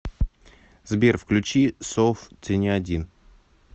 сбер включи соф ты не один